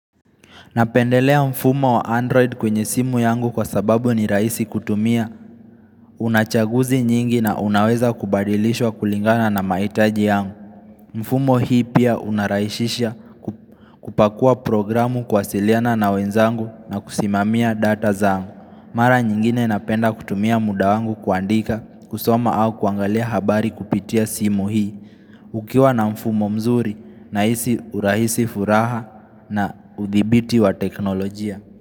Napendelea mfumo wa Android kwenye simu yangu kwa sababu ni raisi kutumia, unachaguzi nyingi na unaweza kubadilishwa kulingana na maitaji yangu. Mfumo hii pia unaraishisha kupakua programu kuwasiliana na wenzangu na kusimamia data zaangu. Mara nyingine napenda kutumia muda wangu kuandika, kusoma au kuangalia habari kupitia simu hii, ukiwa na mfumo mzuri na hisi urahisi furaha na udhibiti wa teknolojia.